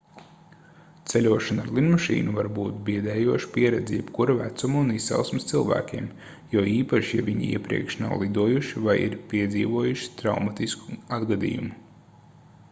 ceļošana ar lidmašīnu var būt biedējoša pieredze jebkura vecuma un izcelsmes cilvēkiem jo īpaši ja viņi iepriekš nav lidojuši vai ir piedzīvojuši traumatisku atgadījumu